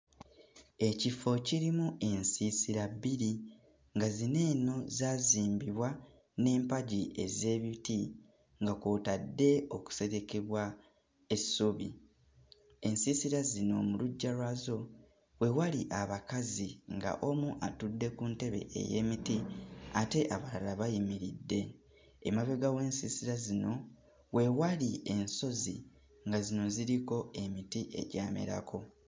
Ekifo kirimu ensiisira bbiri nga zino eno zaazimbibwa n'empagi ez'ebiti nga kw'otadde okuserekebwa essubi. Ensiisira zino mu luggya lwazo we wali abakazi nga omu atudde ku ntebe ey'emiti ate abalala bayimiridde. Emabega w'ensiisira zino we wali ensozi, nga zino ziriko emiti egyamerako.